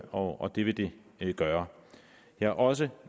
og det vil det gøre jeg er også